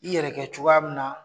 I yɛrɛ kɛ cogoya min na